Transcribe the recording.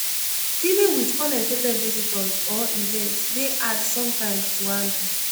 dealing with unexpected visitors or events dey hard sometimes to handle.